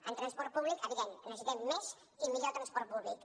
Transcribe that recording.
en transport públic evidentment necessitem més i millor transport públic